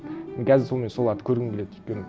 мен қазір сонымен соларды көргім келеді өйткені